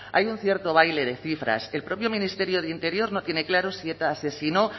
hay un cierto baile de cifras el propio ministerio de interior no tiene claro si eta asesinó